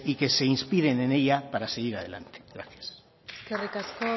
que se inspiren en ella para seguir adelante gracias eskerrik asko